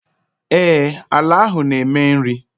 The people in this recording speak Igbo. Ee, àlà áhù na eme nri